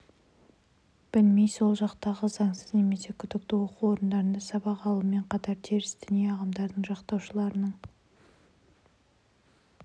білмей сол жақтағы заңсыз немесе күдікті оқу орындарында сабақ алумен қатар теріс діни ағымдардың жақтаушыларының